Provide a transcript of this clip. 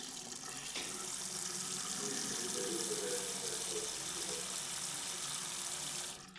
алиса закажи мне жареной картошки с грибами